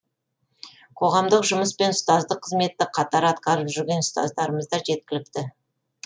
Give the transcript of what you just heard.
қоғамдық жұмыс пен ұстаздық қызметті қатар атқарып жүрген ұстаздарымыз да жеткілікті